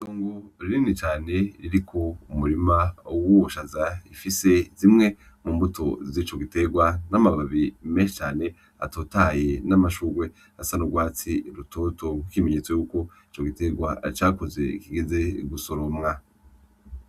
Itongo rinini cane, ririko umurima w'ubushaza ifise zimwe mu mbuto zico giterwa n'amababi menshi cane atotahaye n'amashurwe asa n'urwatsi rutoto nk'ikimenyetso yuko ico giterwa cakuze kigeze gusoromwa.